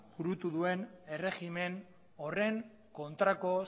burutu duen erregimen horren kontrako